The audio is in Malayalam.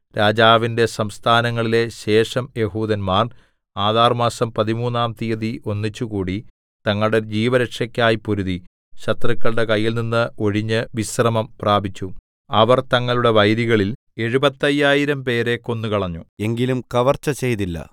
രാജാവിന്റെ സംസ്ഥാനങ്ങളിലെ ശേഷം യെഹൂദന്മാർ ആദാർമാസം പതിമൂന്നാം തീയതി ഒന്നിച്ചുകൂടി തങ്ങളുടെ ജീവരക്ഷയ്ക്കായി പൊരുതി ശത്രുക്കളുടെ കയ്യിൽനിന്ന് ഒഴിഞ്ഞ് വിശ്രമം പ്രാപിച്ചു അവർ തങ്ങളുടെ വൈരികളിൽ എഴുപത്തയ്യായിരം പേരെ 75000 കൊന്നുകളഞ്ഞു എങ്കിലും കവർച്ച ചെയ്തില്ല